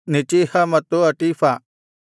ನೆಚೀಹ ಮತ್ತು ಹಟೀಫ